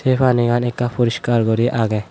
sey panigan ekkan puriskar guri agey.